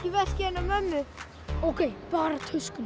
veskið hennar mömmu ókei bara töskuna